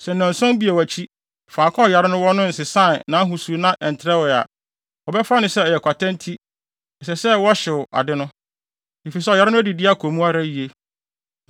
Sɛ nnanson bio akyi faako a ɔyare no wɔ hɔ no nsesaa nʼahosu na ɛntrɛwee a, wɔbɛfa no sɛ ɛyɛ kwata nti ɛsɛ sɛ wɔhyew ade no, efisɛ ɔyare no adidi kɔ mu ara yiye.